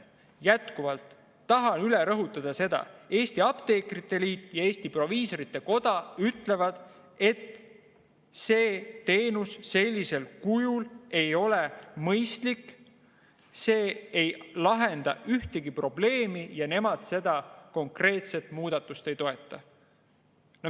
Jätkuvalt tahan üle rõhutada: Eesti Apteekrite Liit ja Eesti Proviisorite Koda ütlevad, et see teenus sellisel kujul ei ole mõistlik, see ei lahenda ühtegi probleemi ja nemad seda konkreetset muudatust ei toeta.